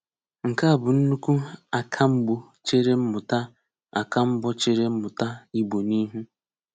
Nke a bụ nnukwu àkàm̀gbọ̀ chèré mmụ̀tà àkàm̀gbọ̀ chèré mmụ̀tà Ìgbò n’ihu.